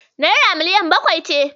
Naira miliyan bakwai ce.